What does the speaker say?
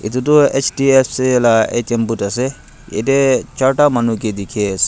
edu toh H_D_F_C la A_T_M booth ase ede charta manu ke dikhi ase.